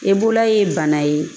E bolola ye bana ye